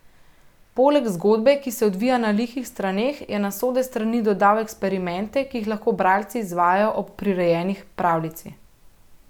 Poleg zgodbe, ki se odvija na lihih straneh, je na sode strani dodal eksperimente, ki jih lahko bralci izvajajo ob prirejeni pravljici.